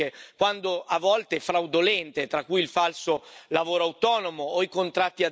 a volte fraudolente, tra cui il falso lavoro autonomo o i contratti a zero ore.